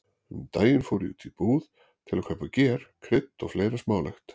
Um daginn fór ég í búð til að kaupa ger, krydd og fleira smálegt.